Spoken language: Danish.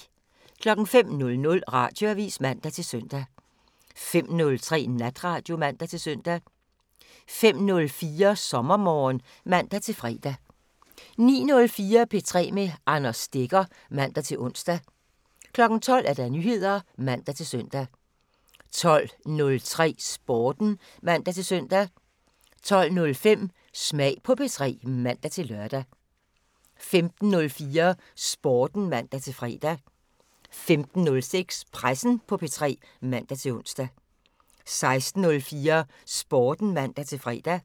05:00: Radioavisen (man-søn) 05:03: Natradio (man-søn) 06:04: SommerMorgen (man-fre) 09:04: P3 med Anders Stegger (man-ons) 12:00: Nyheder (man-søn) 12:03: Sporten (man-søn) 12:05: Smag på P3 (man-lør) 15:04: Sporten (man-fre) 15:06: Pressen på P3 (man-ons) 16:04: Sporten (man-fre)